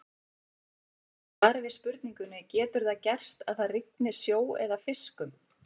Í svari við spurningunni Getur það gerst að það rigni sjó eða fiskum?